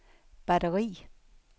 batteri